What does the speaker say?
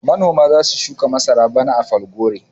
Manoma za su shuka masara bana a Falgore.